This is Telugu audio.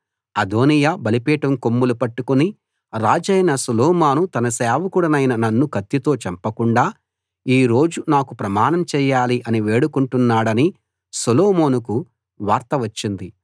అదోనీయా బలిపీఠం కొమ్ములు పట్టుకుని రాజైన సొలొమోను తన సేవకుడినైన నన్ను కత్తితో చంపకుండా ఈ రోజు నాకు ప్రమాణం చేయాలి అని వేడుకుంటున్నాడని సొలొమోనుకు వార్త వచ్చింది